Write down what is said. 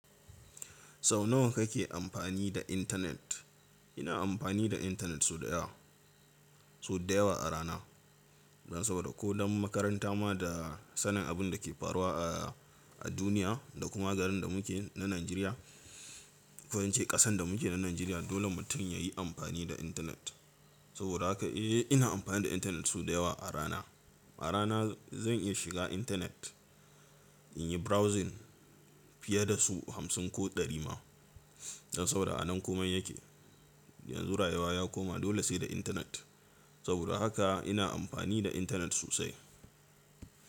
Sau nawa kake amfani da intanet? Ina amfani da intanet sau da yawa, sau da yawa a rana. Don saboda ko don makaranta ma da sanin abin da ke faruwa a, a duniya da kuma garin da muke na Najeriya. Ko in ce ƙasan da muke na Najeriya dole mutum ya yi amfani da intanet. Saboda haka eh ina amfani da intanet sau da yawa a rana. A rana zan iya shiga intanet in yi browsing fiye da su hamsin ko ɗari ma. Don saboda a nan komai yake. Yanzu rayuwa ya koma dole sai da intanet. Saboda haka ina amfani da intanet sosai.